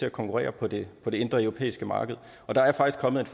at konkurrere på det indre europæiske marked og der er faktisk kommet